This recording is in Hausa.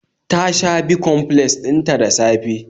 Ta sha bicomplex din ta da safe